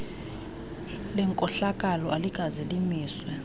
lenkohlakalo alikaze limiswe